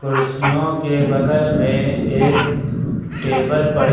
कुर्सियों के बगल में एक टेबल पड़ी--